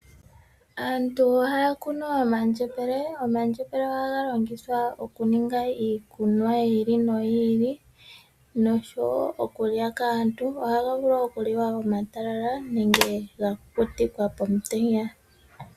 Aantu ohaya kunu omandjembele. Omandjembele ohaga longithwa okuninga iikunwa yi ili noyi ili nosho wo okulya kaantu. Ohaga vulu okuliwa omatalala nenge ga kukutikwa pomutenya.